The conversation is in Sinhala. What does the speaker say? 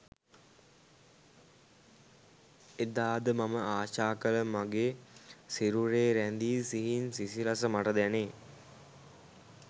එදාද මම ආශා කළ මගේ සිරුරේ රැඳි සිහින් සිසිලස මට දැනේ